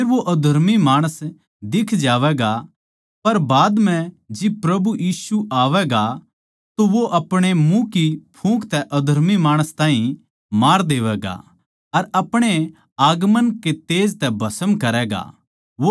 फेर वो अधर्मी माणस दिख जावैगा पर बाद म्ह जिब प्रभु यीशु आवैगा तो वो अपणे मुँह की फूँक तै अधर्मी माणस ताहीं मार देवैगा अर अपणे आगमन के तेज तै भस्म करैगा